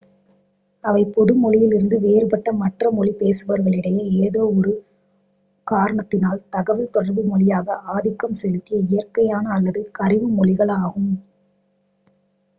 அவை பொது மொழியிலிருந்து வேறுபட்ட மற்ற மொழி பேசுபவர்களிடையே ஏதோ ஒரு 1 காரணத்தினால் தகவல் தொடர்பு மொழியாக ஆதிக்கம் செலுத்திய இயற்கையான அல்லது கரிம மொழிகள் ஆகும்